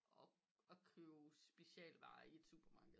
Og købe specialvarer i et supermarked